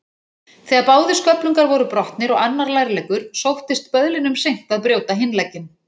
Þegar báðir sköflungar voru brotnir og annar lærleggur, sóttist böðlinum seint að brjóta hinn legginn.